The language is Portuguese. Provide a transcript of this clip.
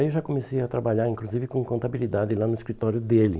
Aí eu já comecei a trabalhar, inclusive, com contabilidade lá no escritório dele.